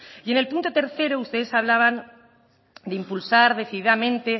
y en el punto tercero ustedes hablaban de impulsar decididamente